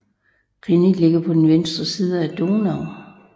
Reni ligger på den venstre bred af Donau